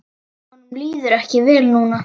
Honum líður ekki vel núna.